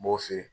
N b'o feere